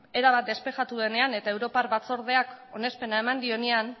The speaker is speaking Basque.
erabat despejatu denean eta europar batzordeak onespena eman dionean